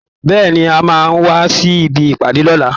Bẹ́ẹ̀ẹ̀ ni, a máa wá sí ibi ìpàdé lọ́la